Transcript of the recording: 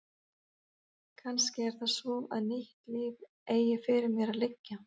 Kannski er það svo að nýtt líf eigi fyrir mér að liggja.